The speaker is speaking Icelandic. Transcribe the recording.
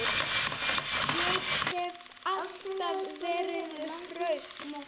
Ég hef alltaf verið hraust.